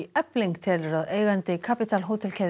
Efling telur að eigandi Capital